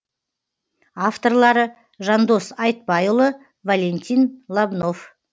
авторлары жандос айтбайұлы валентин лобнов